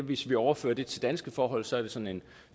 hvis vi overfører det til danske forhold sådan en